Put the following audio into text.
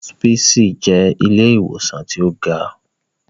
Hospisi jẹ ìlé-iwosan ti o ga